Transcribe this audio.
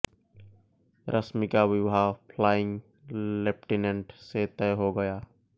रश्मि का विवाह flying lieutenant से तय हो गया